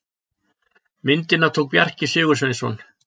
Myndina tók Bjarki Sigursveinsson.